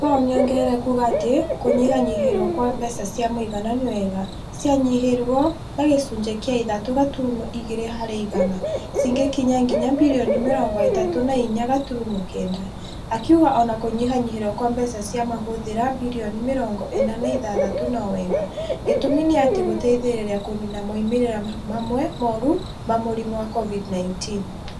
Pal nĩ ongereire kuuga atĩ kũnyihanyihĩrio kwa mbeca cia mũigana ni wega. Cianyihirio na gĩcunjĩ kĩa ithatũ gaturumo igĩre harĩ igana. Cigĩkinya nginya birioni mĩrongo itatũ na inya gaturumo kenda. Akiuga ona kũnyihanyihĩrio kwa mbeca cia mahũthĩra, birioni mĩrongo ĩna na ithathatũ no wega. Gitumi niati nigũteithirie kũniina moimĩrĩro mamwe moru ma mũrimũ wa COVID-19.